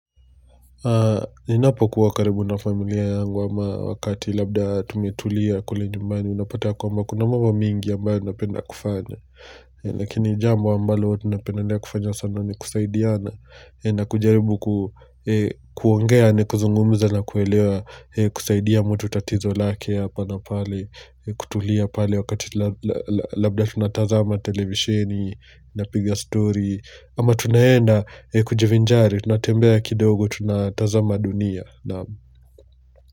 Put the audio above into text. Ninapokuwa karibu na familia yangu ama wakati labda tumetulia kule njumbani unapata ya kwamba kuna mambo mingi ambayo napenda kufanya. Lakini jambo ambalo napenda kufanya sana ni kusaidiana na kujaribu kuongea ni kuzungumza na kuelewa kusaidia mtu tatizo lake hapa na pale kutulia pale wakati labda tunatazama televisheni, napiga story. Ama tunaenda kujivinjari, tunatembea kidogo, tunataza dunia.